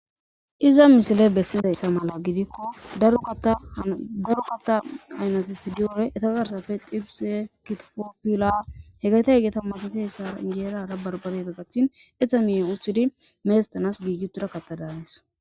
iza misile bessizayssa mala gidikko darugata aynatef diyore eta garsafe xibise kitofoppila hegayta hegeta masafessa injeerara barbarera gathin etha miyen uththidi meestanas giigitura katadaanes